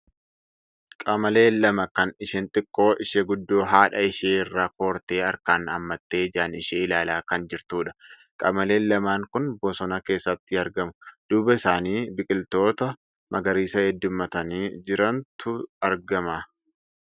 Qamalee lama kan isheen xiqqoo ishee guddoo haadha ishee irra kortee harkaan hammattee ijaan ishee ilaalaa kan jirtudha. Qamaleen lamaan kun bosona keessatti argamu. Duuba isaanii biqiltoota magariisa heeddummatanii jirantu argama.